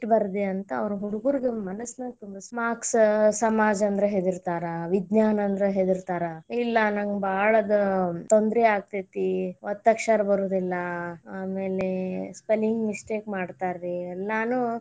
ಇಷ್ಟ್ ಬರದೇ ಅಂತ ಅವ್ರು ಹುಡುಗುರಗ ಮನಸ್ನಾಗ್ marks ಸಮಾಜ ಅಂದ್ರ ಹೆದರ್ತಾರ, ವಿಜ್ಞಾನ ಅಂದ್ರ ಹೆದರತಾರ ಇಲ್ಲಾ ನಂಗ್ ಬಾಳ ಅದ ತೊಂದರಿ ಆಗ್ತೇತಿ ಒತ್ತಕ್ಷರ ಬರುದಿಲ್ಲಾ ಆಮೇಲೆ spelling mistake ಮಾಡ್ತಾರ ರೀ ಎಲ್ಲಾನು.